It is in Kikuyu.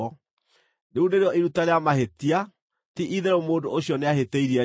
Rĩu nĩrĩo iruta rĩa mahĩtia; ti-itherũ mũndũ ũcio nĩahĩtĩirie Jehova.”